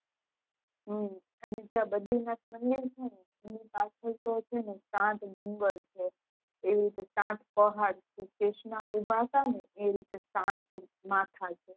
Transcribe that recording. હમ અને ત્યાં બદ્રીનાથ મંદિર મંદિર છેને એની પાચલ તો છેને સાત ડુંગર એવી રીતે સાત પહાડ છે કૃષ્ણ સાત માથા છે